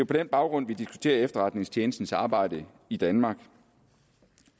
på den baggrund vi diskuterer efterretningstjenestens arbejde i danmark